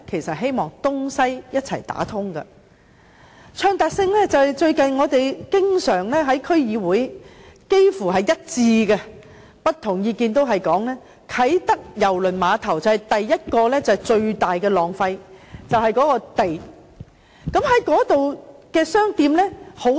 說到暢達性，我們最近在區議會幾乎達成一致的意見，也就是不同意見也提到，啟德郵輪碼頭最大的浪費便是土地。